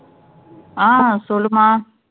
அஹ் சொல்லு மா